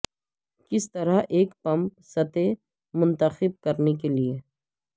کس طرح ایک پمپ سطح منتخب کرنے کے لئے